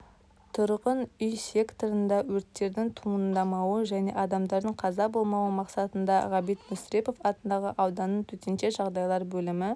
тұрғын-үй секторында өрттердің туындамауы және адамдардың қаза болмауы мақсатында ғабит мүсірепов атындағы ауданың төтенше жағдайлар бөлімі